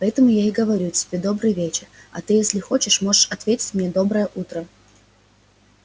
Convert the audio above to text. поэтому я и говорю тебе добрый вечер а ты если хочешь можешь ответить мне доброе утро